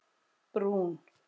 Brún